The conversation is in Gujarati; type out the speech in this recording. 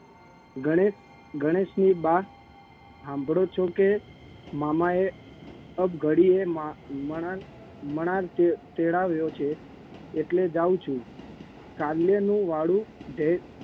ગણેશ ગણેશની બા હાંભળો છો કે મામાએ અબ ઘડીએ મન મન તેડાવ્યો છે એટલે જાઉં છું કાલ્યનું વાળું ઢે